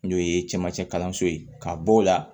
N'o ye camancɛ kalanso ye ka bɔ o la